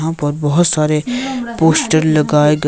यहां पर बहोत सारे पोस्टर लगाये गए--